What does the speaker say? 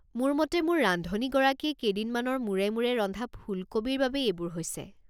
মোৰ মতে মোৰ ৰান্ধনীগৰাকীয়ে কেইদিনমানৰ মূৰে মূৰে ৰন্ধা ফুলকবিৰ বাবে এইবোৰ হৈছে।